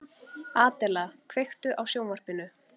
Adela, kveiktu á sjónvarpinu.